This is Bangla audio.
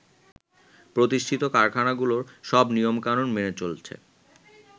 প্রতিষ্ঠিত কারখানাগুলো সব নিয়ম কানুন মেনে চলছে।